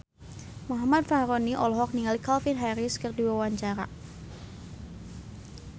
Muhammad Fachroni olohok ningali Calvin Harris keur diwawancara